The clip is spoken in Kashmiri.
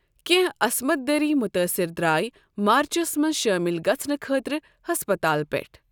کینٛہہ عَصمَت دٔری متٲثر درٲے مارچَس منٛز شٲمِل گَژُھنہٕ خٲطرٕ ہسپتال پٮ۪ٹھ۔